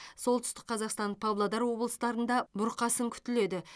солтүстік қазақстан павлодар облыстарында бұрқасын күтіледі